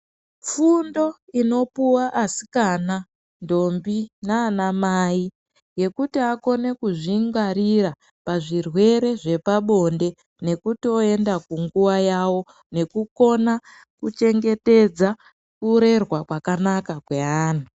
Fundo inopuwa asikana, ntombi nanamai, yekuti akone kuzvingwarira pazvirwere zvepabonde nekutoyenda kunguwa yawo nekukona kuchengetedza urerwa kwakanaka kwe anhu.